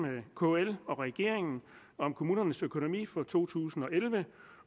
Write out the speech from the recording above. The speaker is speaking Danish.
kl og regeringen om kommunernes økonomi for to tusind og elleve